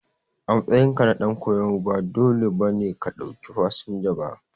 A matsayinka na dan koyo ba dole ba ne ka ɗauki fasinja ba.